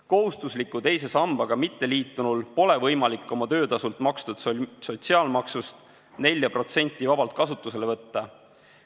Kohustusliku teise sambaga mitteliitunul pole võimalik oma töötasult makstud sotsiaalmaksust 4% vabalt kasutusele võtta.